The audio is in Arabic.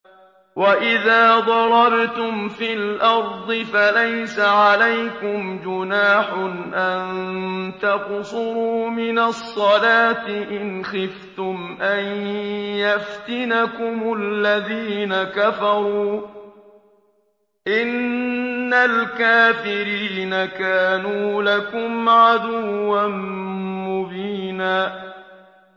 وَإِذَا ضَرَبْتُمْ فِي الْأَرْضِ فَلَيْسَ عَلَيْكُمْ جُنَاحٌ أَن تَقْصُرُوا مِنَ الصَّلَاةِ إِنْ خِفْتُمْ أَن يَفْتِنَكُمُ الَّذِينَ كَفَرُوا ۚ إِنَّ الْكَافِرِينَ كَانُوا لَكُمْ عَدُوًّا مُّبِينًا